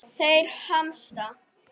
Þeir hamast.